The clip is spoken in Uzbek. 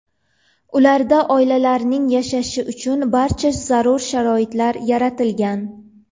Ularda oilalarning yashashi uchun barcha zarur sharoit yaratilgan.